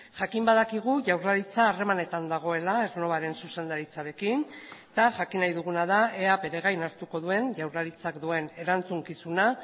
jakin badakigu jaurlaritza harremanetan dagoela aernnovaren zuzendaritzarekin eta jakin nahi duguna da ea bere gain hartuko duen jaurlaritzak duen erantzukizuna